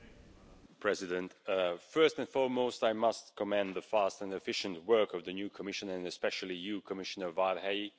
Madam President, first and foremost, I must commend the fast and efficient work of the new Commission, and especially you, Commissioner Várhelyi.